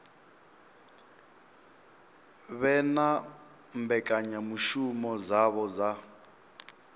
vhe na mbekanyamushumo dzavho dza